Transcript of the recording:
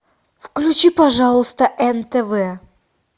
включи пожалуйста нтв